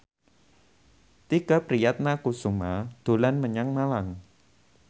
Tike Priatnakusuma dolan menyang Malang